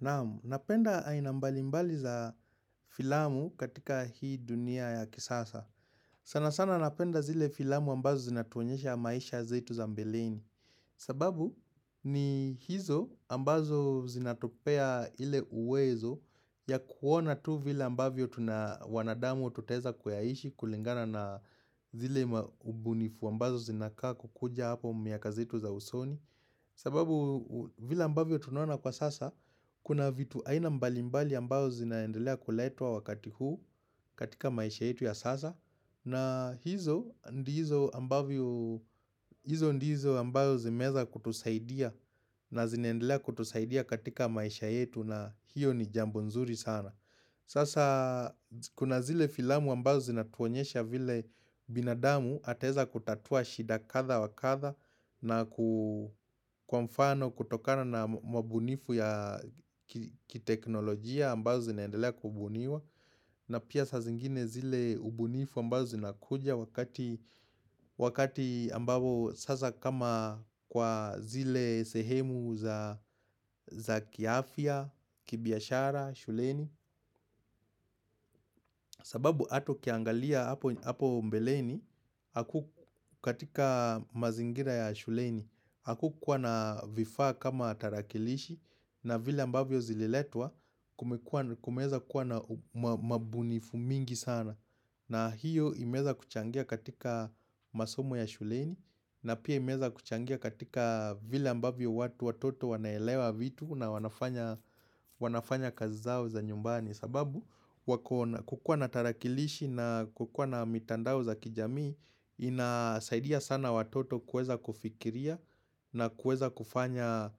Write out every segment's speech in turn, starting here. Naam, napenda aina mbali mbali za filamu katika hii dunia ya kisasa. Sana sana napenda zile filamu ambazo zinatuonyesha maisha zetu za mbeleni. Sababu ni hizo ambazo zinatupea ile uwezo ya kuona tu vila ambavyo tuna wanadamu ututeza kweaishi kulingana na zile mbunifu ambazo zinaka kukuja hapo miaka zetu za usoni. Sababu vile ambavyo tunaona kwa sasa Kuna vitu aina mbali mbali ambazo zinaendelea kuletwa wakati huu katika maisha yetu ya sasa na hizo ndizo ambazo zimeweza kutusaidia na zinaendelea kutusaidia katika maisha yetu na hiyo ni jambo nzuri sana Sasa kuna zile filamu ambazo zinatuonyesha vile binadamu ataweza kutatua shida kathaa wa kathaa na kwa mfano kutokana na mabunifu ya kiteknolojia ambazo zinaendelea kubuniwa na pia saa zingine zile ubunifu ambazo zinakuja wakati ambapo sasa kama kwa zile sehemu za kiafya, kibiashara, shuleni sababu hata ukiangalia hapo mbeleni Haku katika mazingira ya shuleni Hakukuwa na vifaa kama tarakilishi na vile ambavyo zililetwa Kumeweza kuwa na mabunifu mingi sana na hiyo imeweza kuchangia katika masomo ya shuleni na pia imeweza kuchangia katika vile ambavyo watu watoto wanaelewa vitu na wanafanya kazi zao za nyumbani sababu kukuwa na tarakilishi na kukuwa na mitandao za kijamii Inasaidia sana watoto kuweza kufikiria na kuweza kufanya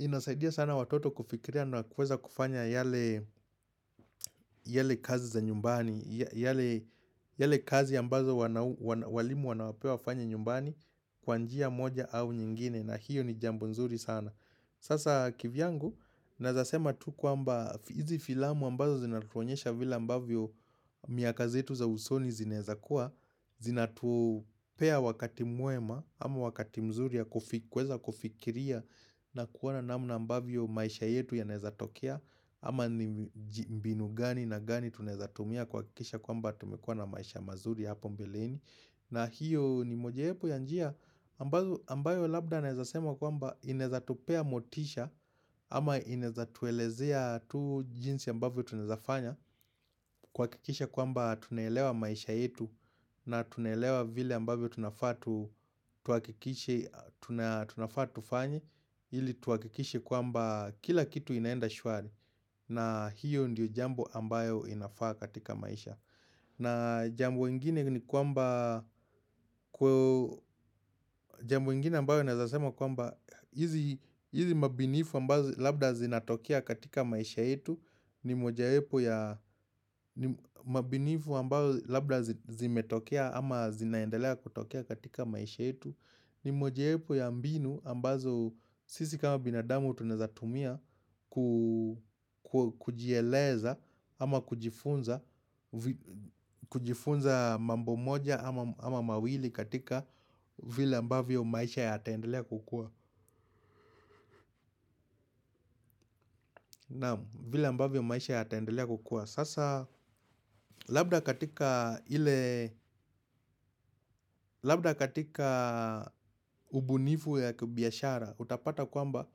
Inasaidia sana watoto kufikiria na kuweza kufanya yale kazi za nyumbani yale kazi ambazo walimu wanawapea wafanye nyumbani Kwa njia moja au nyingine na hiyo ni jambo nzuri sana Sasa kivyangu naweza sema tu kwamba hizi filamu ambazo zinatuonyesha vile ambavyo miaka zetu za usoni zinaweza kuwa Zinatupea wakati mwema ama wakati mzuri ya kuweza kufikiria na kuona namna ambavyo maisha yetu yanawezatokea Ama ni mbinu gani na gani tunaweza tumia kuhakisha kwamba tumekuwa na maisha mazuri hapo mbeleni na hiyo ni moja wapo ya njia ambayo labda naweza sema kwamba inaweza tupea motisha ama inaweza tuelezea tu jinsi ambavyo tunawezafanya kuhakikisha kwamba tunaelewa maisha yetu na tunaelewa vile ambavyo tunafaa tufanye ili tuhakikishe kwamba kila kitu inaenda shwari na hiyo ndiyo jambo ambayo inafaa katika maisha na jambo ingine ni kwamba, jambo ingine ambayo naweza sema kwamba hizi mabunifu ambazo labda zinatokea katika maisha yetu ni moja wapo ya mabunifu ambazo labda zimetokea ama zinaendelea kutokea katika maisha yetu ni moja wapo ya mbinu ambazo sisi kama binadamu tunaweza tumia kujieleza ama kujifunza mambo moja ama mawili katika vile ambavyo maisha yataendelea kukuwa Naam, vile ambavyo maisha yataendelea kukua Sasa labda katika ubunifu ya kibiashara Utapata kwamba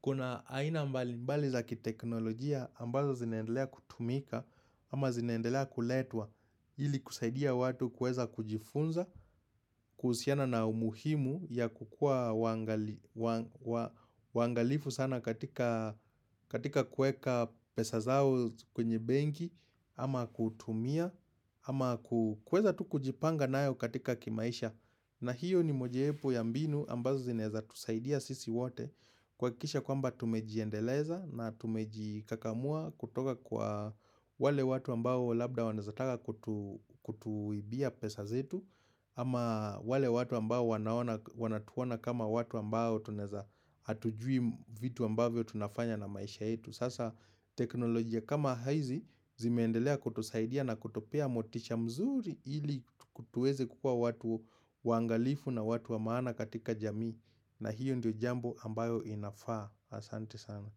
kuna aina mbali mbali za kiteknolojia ambazo zinaendelea kutumika ama zinaendelea kuletwa ili kusaidia watu kueza kujifunza kuhusiana na umuhimu ya kukuwa waangalifu sana katika kuweka pesa zao kwenye benki Ama kutumia Ama kuweza tu kujipanga nayo katika kimaisha na hiyo ni moja wapo ya mbinu ambazo zinaweza tusaidia sisi wote kuhakikisha kwamba tumejiendeleza na tumejikakamua kutoka kwa wale watu ambao labda wanaweza taka kutuibia pesa zetu Ama wale watu ambao wanatuona kama watu ambao Tunaweza hatujui vitu ambavyo tunafanya na maisha yetu Sasa teknolojia kama hizi zimeendelea kutusaidia na kutupea motisha mzuri ili tuweze kukuwa watu waangalifu na watu wa maana katika jamii na hiyo ndio jambo ambayo inafaa Asante sana.